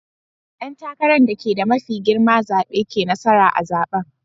Dan takaran dake da mafi girma zabe ke nasara a'zaben.